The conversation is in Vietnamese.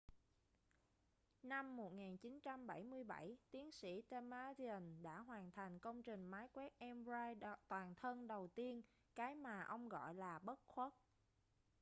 năm 1977 tiến sĩ damadian đã hoàn thành công trình máy quét mri toàn thân đầu tiên cái mà ông gọi là bất khuất